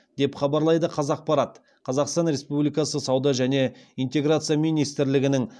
деп хабарлайды қазақпарат қазақстан республикасы сауда және интеграция министрлігінің